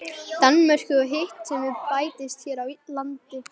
Danmörku og hitt sem við bættist hér á landi.